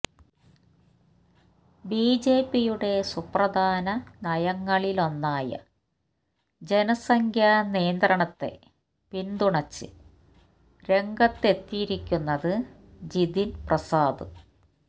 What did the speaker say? ബിജെപിയുടെ സുപ്രധാന നയങ്ങളിലൊന്നായ ജനസംഖ്യാ നിയന്ത്രണത്തെ പിന്തുണച്ച് രംഗത്തെത്തിയിരിക്കുന്നത് ജിതിന് പ്രസാദ്